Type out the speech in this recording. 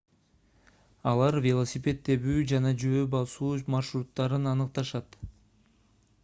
алар велосипед тебүү жана жөө басуу маршруттарын аныкташат